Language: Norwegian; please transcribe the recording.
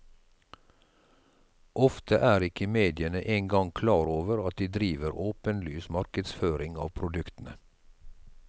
Ofte er ikke mediene en gang klar over at de driver åpenlys markedsføring av produktene.